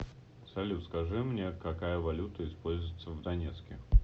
салют скажи мне какая валюта используется в донецке